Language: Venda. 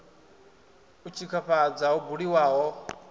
u tshikafhadza ho buliwaho ho